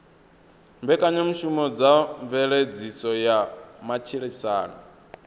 mbekanyamushumo dza mveledziso ya matshilisano